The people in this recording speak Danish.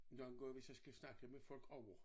Nogen gange hvis jeg skal snakke med folk ovre